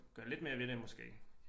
Gør lidt mere ved det måske